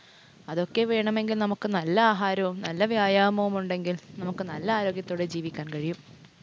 അതൊക്കെ വേണമെങ്കിൽ നമുക്ക് നല്ല ആഹാരവും, നല്ല വ്യായാമവും ഉണ്ടെങ്കിൽ നമുക്ക് നല്ല ആരോഗ്യത്തോടെ ജീവിക്കാൻ കഴിയും.